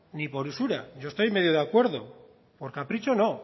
ni por usura yo estoy medio de acuerdo por capricho no